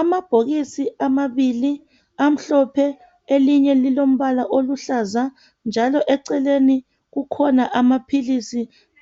Amabhokisi amabiili amhlophe, elinye lilombala oluhlaza njalo eceleni kukhona amaphilisi